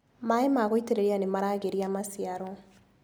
Maĩ ma gũitĩrĩria nimaragĩria maciaro.